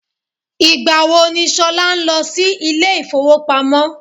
Ìgbà wo ni Ṣolá ń lọ sí ilé ifowopamo?